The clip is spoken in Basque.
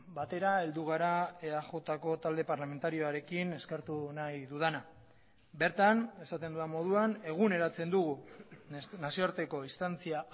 batera heldu gara eajko talde parlamentarioarekin eskertu nahi dudana bertan esaten dudan moduan eguneratzen dugu nazioarteko instantzia